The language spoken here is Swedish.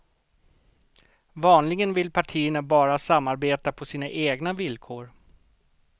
Vanligen vill partierna bara samarbeta på sina egna villkor.